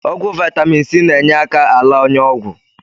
Ọgwụ Vaitamin C na-enyeaka ala ọnyá. Ọgwụ